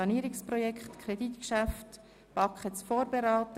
Das nächste werden wir nicht in diesem Eilzugstempo behandeln.